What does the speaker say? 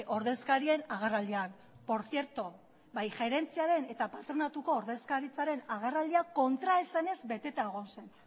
ordezkarien agerraldian por cierto bai gerentziaren eta patronatuko ordezkaritzaren agerraldia kontraesanez beteta egon zen